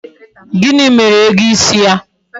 Gini mere ego isi ya?